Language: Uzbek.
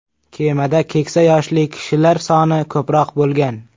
Kemada keksa yoshli kishilar soni ko‘proq bo‘lgan.